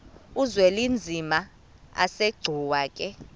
uzwelinzima asegcuwa ke